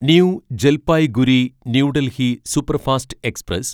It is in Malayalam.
new Jalpaiguri new Delhi superfast express